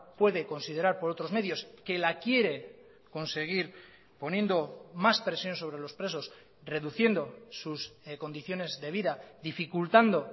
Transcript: puede considerar por otros medios que la quiere conseguir poniendo más presión sobre los presos reduciendo sus condiciones de vida dificultando